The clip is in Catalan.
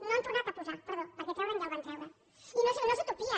no han tornat a posar perdó perquè treure’l ja el van treure i no és utopia